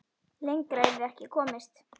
Lengra yrði ekki komist.